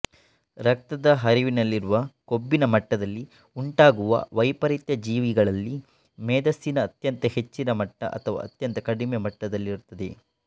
ರಕ್ತದ ಹರಿವಿನಲ್ಲಿರುವ ಕೊಬ್ಬಿನ ಮಟ್ಟದಲ್ಲಿ ಉಂಟಾಗುವ ವೈಪರೀತ್ಯ ಜೀವಿಗಳಲ್ಲಿ ಮೇದಸ್ಸಿನ ಅತ್ಯಂತ ಹೆಚ್ಚಿನ ಮಟ್ಟ ಅಥವಾ ಅತ್ಯಂತ ಕಡಿಮೆ ಮಟ್ಟದಲ್ಲಿರುತ್ತದೆ